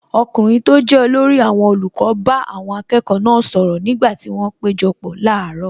Ọkùnrin tó jẹ́ olórí àwọn olùkọ́ bá àwọn akẹ́kọ̀ọ́ náà sọ̀rọ̀ nígbà tí wọn péjọpọ̀ láàárọ̀.